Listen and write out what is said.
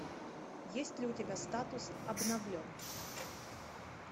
есть ли у тебя статус обновлен